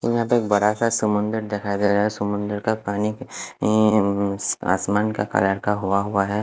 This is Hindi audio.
और यहा पे बडा सा समुन्द्र दिखाई दे रहा है समुन्द्र का पानी आसमान का कलर का हुआ है।